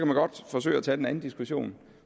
man godt forsøge at tage den anden diskussion